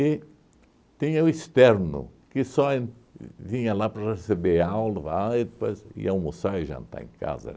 E tinha o externo, que só en vi vinha lá para receber aula e depois ia almoçar e jantar em casa.